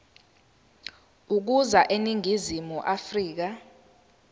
ukuza eningizimu afrika